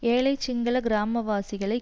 ஏழைச் சிங்கள கிராமவாசிகளை